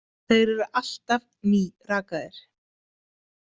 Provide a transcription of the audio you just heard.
Þeir eru alltaf nýrakaðir.